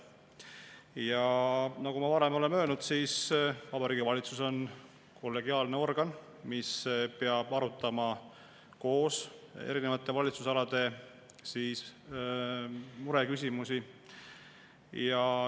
Ja nagu ma varem olen öelnud, Vabariigi Valitsus on kollegiaalne organ, mis peab arutama koos erinevate valitsusalade mureküsimusi.